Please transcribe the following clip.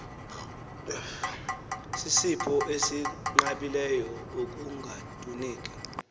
sisipho esinqabileyo ekungatuneki